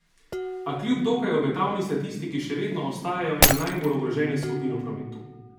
A kljub dokaj obetavni statistiki še vedno ostajajo ena najbolj ogroženih skupin v prometu.